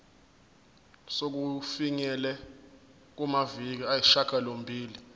sokufinyelela kumaviki ayisishagalombili